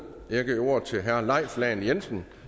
jeg giver ordet til herre leif lahn jensen